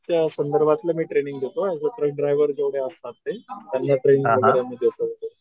च्या संदर्भातलं मी टेनिंग देतो असं ट्रेन ड्रॉयव्हर जेवढे असतात ते त्यांना ट्रेनिंग वगैरे देतो